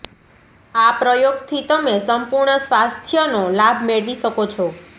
આ પ્રયોગ થી તમે સંપૂર્ણ સ્વાસ્થય નો લાભ મેળવી શકો છો